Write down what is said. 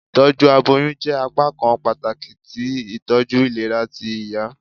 Itọju aboyun jẹ apakan pataki ti itọju ilera ti iya.